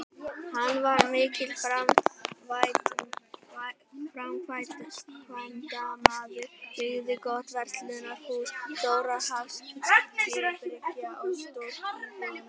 Hann var mikill framkvæmdamaður, byggði gott verslunarhús, stóra hafskipabryggju og stórt íbúðarhús.